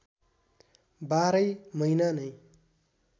बाह्रै महिना नै